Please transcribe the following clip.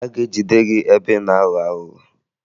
A ga-ejide gị ebe ị na-aghọ aghụghọ